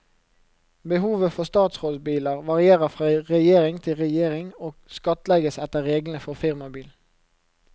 Behovet for statsrådbiler varierer fra regjering til regjering, og skattlegges etter reglene for firmabil.